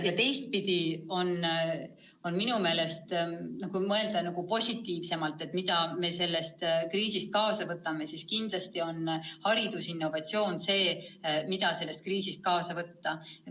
Ja teistpidi, kui mõelda positiivsemalt, mida me sellest kriisist kaasa võtame, siis kindlasti on haridusinnovatsioon see, mis me saame sellest kriisist kaasa võtta.